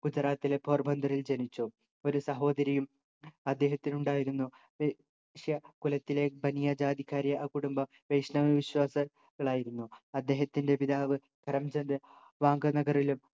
ഗുജറാത്തിലെ പോർബന്തറിൽ ജനിച്ചു ഒരു സഹോദരിയും അദ്ദേഹത്തിനുണ്ടായിരുന്നു വൈശ്യ കുലത്തിലെ ബനിയ ജാതിക്കാരായ ആ കുടുംബം വൈഷ്ണവ വിശ്വാസ കളായിരുന്നു അദ്ദേഹത്തിൻ്റെ പിതാവ് കരംചന്ദ് വാങ്ക നഗറിലും